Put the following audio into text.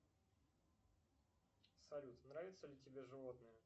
салют нравятся ли тебе животные